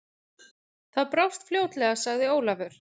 Það brást fljótlega, sagði Ólafur.